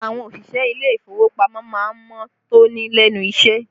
Àwọn òṣìṣẹ́ ilé ìfowópamọ́ má ń mọ́ tóní lẹ́nu iṣẹ́